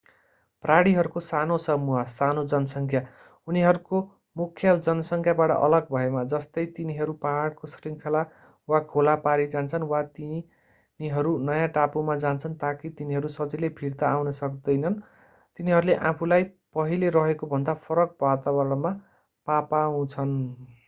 प्राणीहरूको सानो समूह सानो जनसङ्ख्या उनीहरूको मुख्य जनसङ्ख्याबाट अलग भएमा जस्तै तिनीहरू पहाडको श्रृङ्खला वा खोला पारी जान्छन् वा यदि तिनीहरू नयाँ टापुमा जान्छन् ताकि तिनीहरू सजिलै फिर्ता आउन सक्दैनन् तिनीहरूले आफूलाई पहिले रहेकोभन्दा फरक वातावरणमा पापाउँछन्।